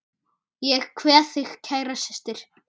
Ég kveð þig kæra systir.